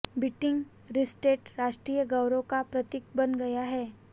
beating retreat राष्ट्रीय गौरव का प्रतीक बन गया है